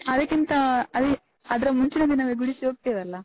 ಅದಕ್ಕಿಂತ ಅದೆ ಅದ್ರ ಮುಂಚಿನ ದಿನವೇ ಗುಡಿಸಿ ಹೋಗ್ತೇವಲ್ಲ.